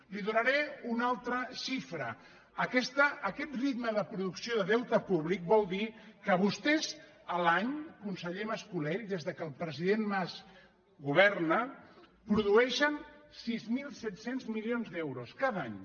li donaré una altra xifra aquest ritme de producció de deute públic vol dir que vostès l’any conseller mas·colell des que el president mas governa produeixen sis mil set cents milions d’euros cada any